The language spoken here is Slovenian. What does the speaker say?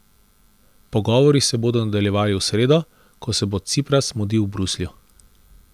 Pogovori se bodo nadaljevali v sredo, ko se bo Cipras mudil v Bruslju.